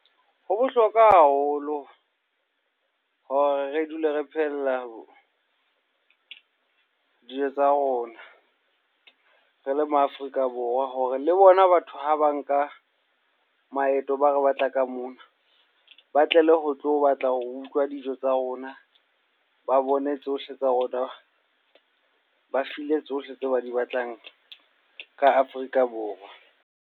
Ho bohlokwa haholo hore re dule re phehella dijo tsa rona re le ma Afrika Borwa hore le bona batho ha ba nka maeto ba re batla ka mona, ba tlele ho tlo batla ho utlwa dijo tsa rona. Ba bone tsohle tsa rona, ba feel-e tsohle tseo ba di batlang ka Afrika Borwa.